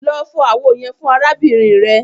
Lọ fọ awo yẹn fun arabinrin rẹ!